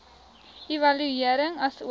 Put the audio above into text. evaluering asook